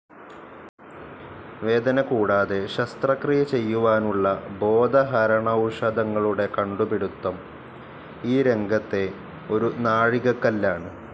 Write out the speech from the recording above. വേദന കൂടാതെ ശസ്ത്രക്രിയ ചെയ്യുവാനുള്ള ബോധഹരണൌഷധങ്ങളുടെ കണ്ടുപിടിത്തം ഈ രംഗത്തെ ഒരു നാഴികക്കല്ലാണ്.